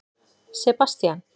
Sebastían